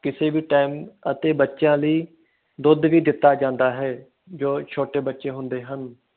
ਕਿਸੇ ਵੀ ਅਤੇ ਬੱਚਿਆਂ ਲਾਇ ਦੁੱਧ ਵੀ ਦਿੱਤਾ ਜਾਂਦਾ ਹੈ ਜੋ ਛੋਟੇ ਬਚੇ ਹੁੰਦੇ ਹਨ